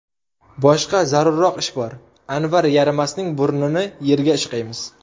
Boshqa zarurroq ish bor, Anvar yaramasning burnini yerga ishqaymiz.